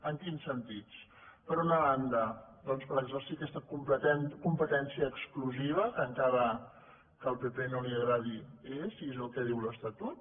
en quins sentits per una banda doncs per exercir aquesta competència exclusiva que encara que al pp no li agradi és i és el que diu l’estatut